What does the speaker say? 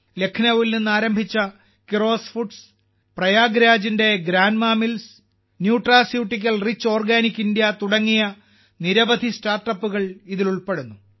ലഖ്നൌവിൽ നിന്ന് ആരംഭിച്ച കിറോസ് ഫുഡ്സ് പ്രയാഗ്രാജിന്റെ Grandma Mills Nutraceutical Rich Organic India തുടങ്ങിയ നിരവധി സ്റ്റാർട്ടപ്പുകൾ ഇതിൽ ഉൾപ്പെടുന്നു